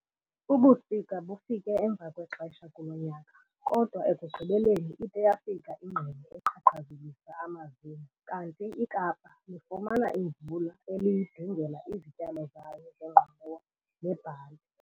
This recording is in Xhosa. Ubusika bufike emva kwexesha kulo nyaka kodwa ekugqibeleni ide yafika ingqele eqhaqhazelisa amazinyo kanti iKapa lifumana imvula eliyidingela izityalo zayo zengqolowa nebhali.